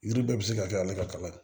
Yiri bɛɛ bɛ se ka kɛ ne ka kalan ye